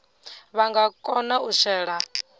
vha nga kona u shela